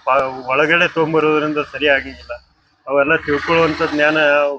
ಬಹಳ್ ಒಳಗಡೆ ತೊಗೊಂಬ ಬರುದ್ರಿಂದ ಸರಿ ಆಗಾಂಗಿಲ್ಲ. ಅವೆಲ್ಲಾ ತಿಳಿಕೊಳ್ಳವಂತ ಧ್ಯಾನ --